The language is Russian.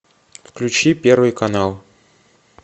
включи первый канал